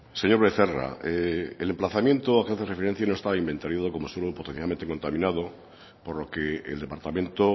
señor becerra el emplazamiento que hace referencia no está inventariado como suelo potencialmente contaminado por lo que el departamento